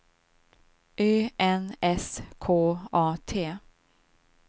Ö N S K A T